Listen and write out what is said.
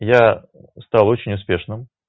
я стал очень успешным